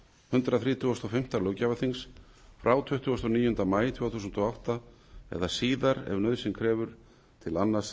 hundrað þrítugasta og fimmta löggjafarþingsfrá tuttugasta og níunda maí tvö þúsund og átta eða síðar ef nauðsyn krefur til annars